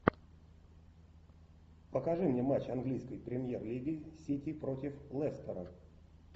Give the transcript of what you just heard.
покажи мне матч английской премьер лиги сити против лестера